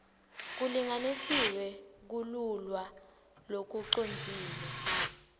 kulinganisiwe kululwa lokucondzile